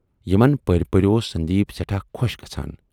یِمن پٔرۍ پٔرۍ اوس سندیٖپ سٮ۪ٹھاہ خوش گژھان۔